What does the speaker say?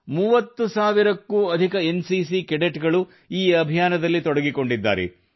30 ಸಾವಿರಕ್ಕೂ ಅಧಿಕ N CC cadet ಗಳು ಈ ಅಭಿಯಾನದಲ್ಲಿ ತೊಡಗಿಕೊಂಡಿದ್ದಾರೆ